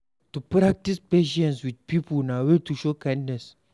To practice patience with pipo na way to show kindness